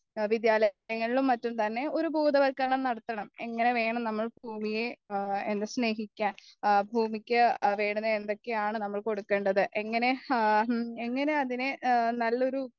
വിദ്യാലയങ്ങളിലും മറ്റും തന്നെ ഒരു ബോധവത്കരണം നടത്തണം എന്നാലേ നമ്മൾ ഭൂമിയെ എന്താ സ്നേഹിക്കാൻ ഭൂമിക്ക് എന്തൊക്കെയാണ് നമ്മൾ കൊടുക്കേണ്ടത് ഇങ്ങനെ ഇങ്ങനെ അതിനെ നല്ലൊരു